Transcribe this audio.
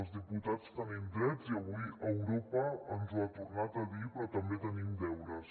els diputats tenim drets i avui europa ens ho ha tornat a dir però també tenim deures